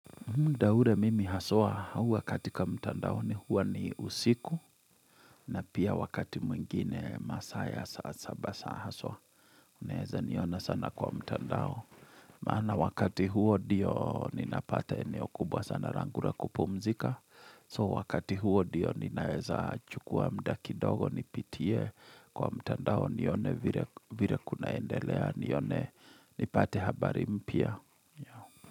Muda ule mimi haswa huwa katika mtandaoni huwa ni usiku na pia wakati mwingine masaa ya saa saba haswa. Unaeza niona sana kwa mtandao. Maana wakati huo ndio ninapata eneo kubwa sana langura kupumzika. So wakati huo ndio ninaeza chukua muda kidogo nipitie kwa mtandao nione vile vile kunaendelea nione nipate habari mpya.